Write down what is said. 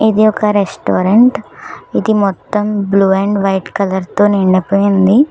ఇది ఒక రెస్టారెంట్ ఇది మొత్తం బ్లూ అండ్ వైట్ కలర్ తో నిండిపోయింది.